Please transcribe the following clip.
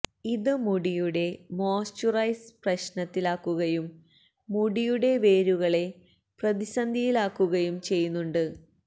ഇത് മുടിയുടെ മോയ്സ്ചുറൈസ് പ്രശ്നത്തിലാക്കുകയും മുടിയുടെ വേരുകളെ പ്രതിസന്ധിയില് ആക്കുകയും ചെയ്യുന്നുണ്ട്